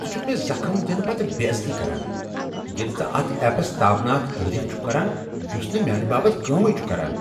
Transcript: ژٕ چھُکھ مے زخم دِنہ پتہ بے عزتی کران ییٚلہ ژٕ اتھ ایپس تابناک تعریف چھُکھ کران یُس نہ میانہ باپت کٲمٕے چھُ کران۔